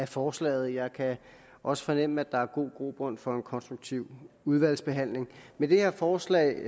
forslaget jeg kan også fornemme at der er god grobund for en konstruktiv udvalgsbehandling med det her forslag